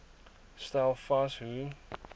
stel vas hoe